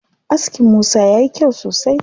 Askin Musa yayi kyau sosai.